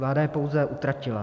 Vláda je pouze utratila.